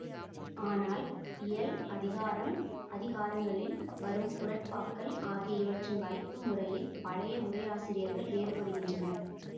ஆனால் இயல் அதிகாரம் அதிகாரங்களில் வரும் குறட்பாக்கள் ஆகிய இவற்றின் வைப்பு முறையில் பழைய உரையாசிரியர்கள் வேறுபடுகின்றனர்